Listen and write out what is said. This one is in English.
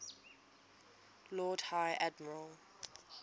lord high admiral